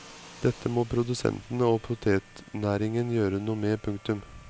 Dette må produsentene og potetnæringen gjøre noe med. punktum